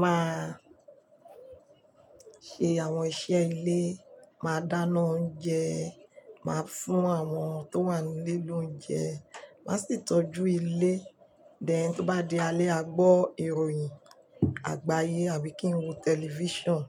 máa ṣe àwọn iṣẹ́ ilé, máa dáná oúnjẹ, máa fún àwọn tó wà nílé lóúnjẹ, má sì tọ́jú ilé. Dẹ̀ tí ó bá di alẹ́ a gbọ́ ìròyìn àgbáyé àbí kí n wo tẹlifíṣàn.